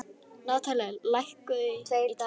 Natanael, lækkaðu í hátalaranum.